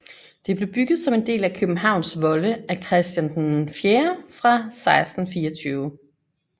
Det blev bygget som en del af Københavns volde af Christian IV fra 1624